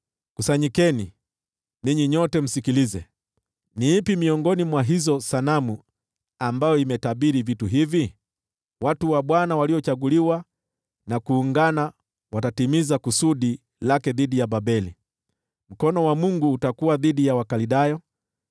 “Kusanyikeni, ninyi nyote, msikilize: Ni ipi miongoni mwa hizo sanamu ambayo imetabiri vitu hivi? Watu wa Bwana waliochaguliwa na kuungana watatimiza kusudi lake dhidi ya Babeli; mkono wa Mungu utakuwa dhidi ya Wakaldayo.